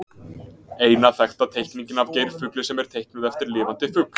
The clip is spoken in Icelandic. Eina þekkta teikningin af geirfugli sem er teiknuð eftir lifandi fugli.